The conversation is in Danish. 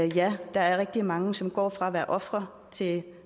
ja der er rigtig mange som går fra at være ofre til